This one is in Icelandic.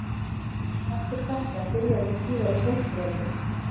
Eftir þetta byrjaði síðari heimsstyrjöldin.